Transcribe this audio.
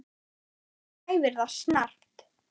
Hún kæfir það snarpt.